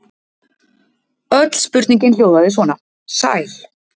Öll spurningin hljóðaði svona: Sæl.